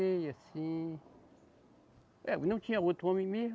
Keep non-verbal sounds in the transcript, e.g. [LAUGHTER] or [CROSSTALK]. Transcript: [UNINTELLIGIBLE] Assim. É, não tinha outro homem mesmo.